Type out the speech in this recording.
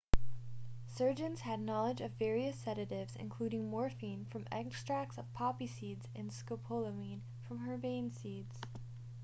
surgeons had knowledge of various sedatives including morphine from extracts of poppy seeds and scopolamine from herbane seeds